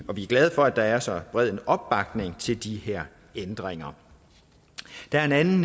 vi er glade for at der er så bred en opbakning til de her ændringer der er en anden